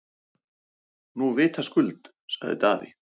Nú vitaskuld, sagði Daði.